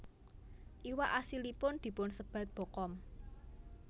Iwak asilipun dipunsebat bokkom